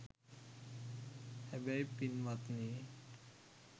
හැබැයි පින්වත්නි